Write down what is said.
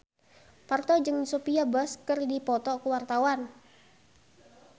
Parto jeung Sophia Bush keur dipoto ku wartawan